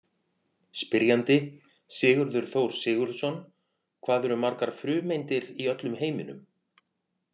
Spyrjandi: Sigurður Þór Sigurðsson Hvað eru margar frumeindir í öllum heiminum?